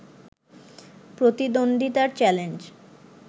প্রতিদ্বন্দ্বিতার challenge